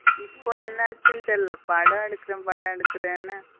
இப்போ என்ன ஆச்சி படம் எடுக்குரனு பட எடுக்குரனு.